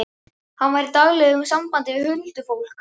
Hann var í daglegu sambandi við huldufólk.